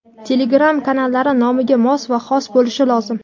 Telegram kanallari nomiga mos va xos bo‘lishi lozim.